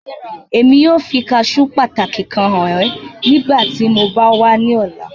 Emi yoo fi caṣeu pataki kan han ọ nigbati mo ba wa ni ọla